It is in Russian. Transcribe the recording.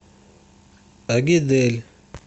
агидель